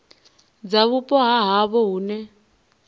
dza vhupo ha havho hune